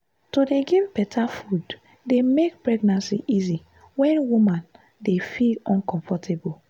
to dey give better food dey make pregnancy easy when woman dey feel uncomfortable.